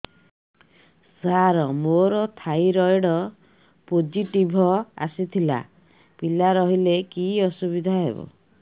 ସାର ମୋର thyroid positive ଆସିଥିଲା ପିଲା ରହିଲେ କି ଅସୁବିଧା ହେବ